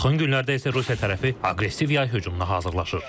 Yaxın günlərdə isə Rusiya tərəfi aqressiv yay hücumuna hazırlaşır.